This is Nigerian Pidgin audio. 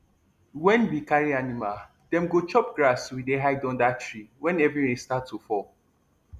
wen we carry animal dem go chop grass we dey hide under tree wen heavy rain start to fall